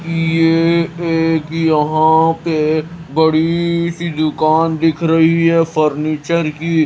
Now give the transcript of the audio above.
ये एक यहां पे बड़ी सी दुकान दिख रही है फर्नीचर की--